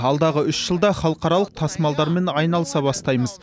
алдағы үш жылда халықаралық тасымалдармен айналыса бастаймыз